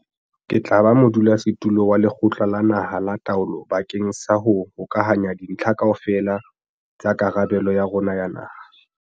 Ke tla ba modulasetulo wa Lekgotla la Naha la Taolo bakeng sa ho hokahanya dintlha kaofela tsa karabelo ya rona ya naha.